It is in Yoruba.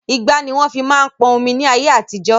Igbá ni wọn fi máa ń pọn omi ni ayé àtijọ́